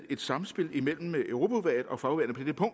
et samspil imellem europaudvalget og fagudvalgene på